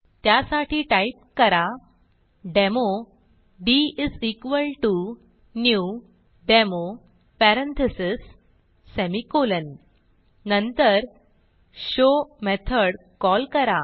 त्यासाठी टाईप करा demo dnew demo parentheses semicolon नंतर show मेथड कॉल करा